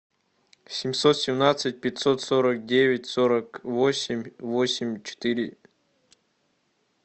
семьсот семнадцать пятьсот сорок девять сорок восемь восемь четыре